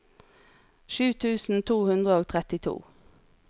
sju tusen to hundre og trettito